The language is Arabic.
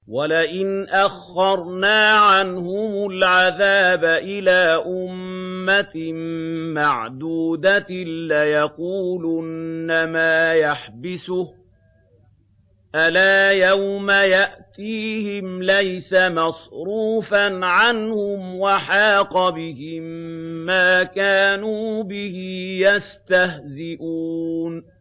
وَلَئِنْ أَخَّرْنَا عَنْهُمُ الْعَذَابَ إِلَىٰ أُمَّةٍ مَّعْدُودَةٍ لَّيَقُولُنَّ مَا يَحْبِسُهُ ۗ أَلَا يَوْمَ يَأْتِيهِمْ لَيْسَ مَصْرُوفًا عَنْهُمْ وَحَاقَ بِهِم مَّا كَانُوا بِهِ يَسْتَهْزِئُونَ